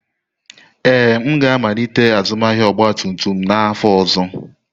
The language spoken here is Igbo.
Ee, m ga-amalite azụmahịa ọgba tum tum n'afọ ọzọ.